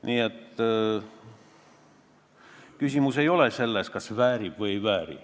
Nii et küsimus ei ole selles, kas eesmärk väärib küünlaid või ei vääri.